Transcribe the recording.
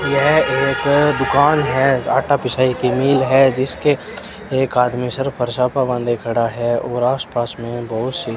यह एक दुकान है आटा पिसाई की मिल है जिसके एक आदमी सर पर सपा बांधे खड़ा है और आसपास में बहुत सी--